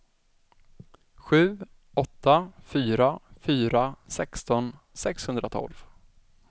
sju åtta fyra fyra sexton sexhundratolv